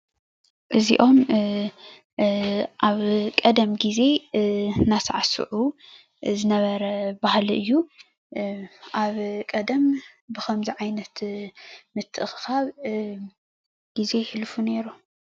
እዚኦም አብ ቀደም ግዘ እናሳዕስዑ ዝነበረ ባህሊ እዩ። አብ ቀደም ብከምዚ ዓይነት ምትእክካብ ግዘ የሕልፉ ነይሮም።